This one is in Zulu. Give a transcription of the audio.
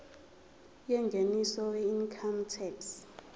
yengeniso weincome tax